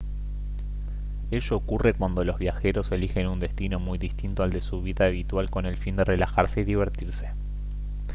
ello ocurre cuando los viajeros elijen un destino muy distinto al de su vida habitual con el fin de relajarse y divertirse